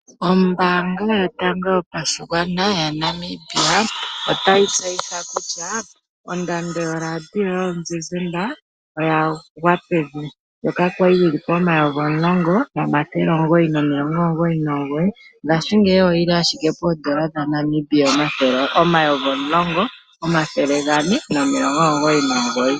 Ombaanga yotango yopashigwana moNamibia otayi tseyitha kutya ondando yoradio yomuzizimba oya gwa pevi ndjoka kwali yina oondola dhaNamibia N$ 10999.00, ashike ngaashingeyi oyina owala oondola dhaNamibia N$ 10499.00.